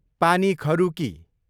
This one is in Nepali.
पानी खरुकी